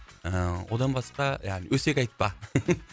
ыыы одан басқа яғни өсек айтпа